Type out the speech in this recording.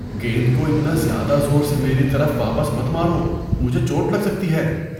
گیند کو اتنا زیادہ زور سے میری طرف واپس مت مارو۔ مجھے چوٹ لگ سکتی ہے۔